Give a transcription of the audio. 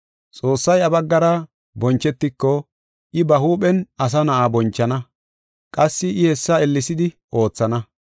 Xoossay iya baggara bonchetiko I ba huuphen Asa Na7aa bonchana; qassi I hessa ellesidi oothana.